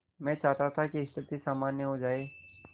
मैं चाहता था कि स्थिति सामान्य हो जाए